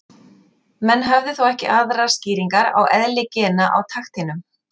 Menn höfðu þó ekki aðrar skýringar á eðli gena á takteinum.